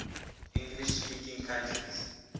english speaking countries